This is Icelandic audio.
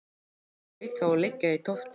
Hann hlaut þá að liggja í tóftinni.